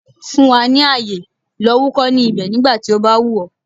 Fún wa ní àyè, lọ wúkọ́ ní ibẹ̀ nígbà tí ó bá wù ọ̀.